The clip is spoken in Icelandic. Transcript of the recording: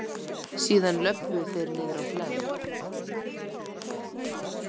Síðan löbbuðu þeir niðrá Hlemm.